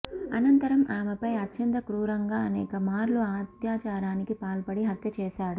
అనంతరం ఆమెపై అత్యంత క్రూరంగా అనేకమార్లు అత్యాచారానికి పాల్పడి హత్య చేశాడు